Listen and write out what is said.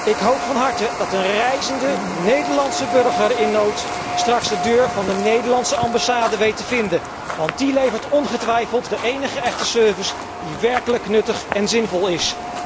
Ik hoop van harte dat een reizende Nederlandse burger in nood straks de deur van de Nederlandse ambassade weet te vinden, want die levert ongetwijfeld de enige echte service die werkelijk nuttig en zinvol is.